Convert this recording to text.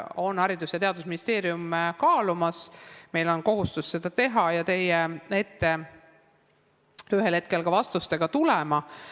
Me oleme selle koalitsioonilepingusse kirjutanud, meil on kohustus seda teha ja ühel hetkel vastustega teie ette tulla.